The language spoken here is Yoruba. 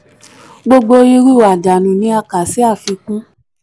gbogbo irú àdánù ni a kà sí afikun.